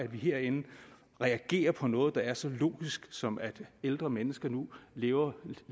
vi herinde reagerer på noget der er så logisk som at ældre mennesker nu lever